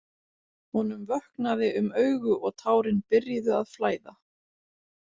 Honum vöknaði um augu og tárin byrjuðu að flæða.